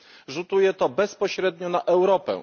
Rzutuje to bezpośrednio na Europę.